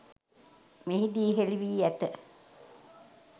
මෙහිදී හෙළි වී ඇත